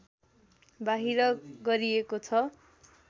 बाहिर गरिएको छ